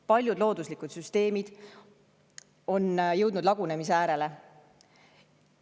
Paljud looduslikud süsteemid on jõudnud lagunemise äärele.